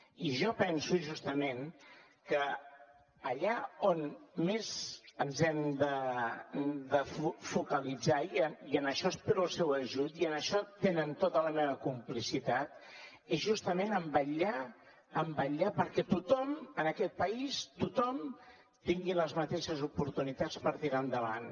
i jo penso justament que allà on més ens hem de focalitzar i en això espero el seu ajut i en això tenen tota la meva complicitat és justament a vetllar perquè tothom en aquest país tothom tingui les mateixes oportunitats per tirar endavant